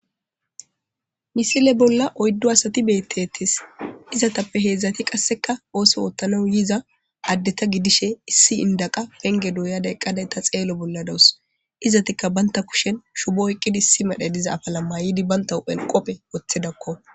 misile bolla oyddo asati beettettis izatappe heedzdzati qasseka ooso oottana yiza addeta gidishe issi indaqa penge duuyadayqqaday ta xeelo bolla dawus izatikka baynta kushen shubo oyqqidi issi madhe diza afala mayidi banta elqopphe woththedakko